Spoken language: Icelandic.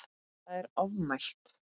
Það er ofmælt.